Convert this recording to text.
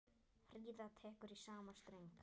Fríða tekur í sama streng.